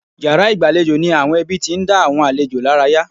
Yàrá ìgbàlejò ni àwọn ẹbí tí ń dá àwọn àlejò lára yá.